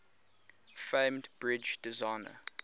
famed bridge designer